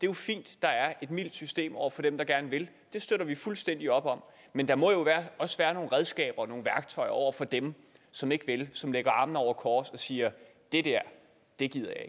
jo fint at der er et mildt system over for dem der gerne vil det støtter vi fuldstændig op om men der må jo også være nogle redskaber og nogle værktøjer over for dem som ikke vil som lægger armene over kors og siger det der gider